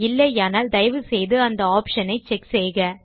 இல்லையானால் தயை செய்து இந்த ஆப்ஷன் ஐ செக் செய்க